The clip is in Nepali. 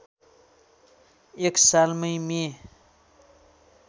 एक सालमै मे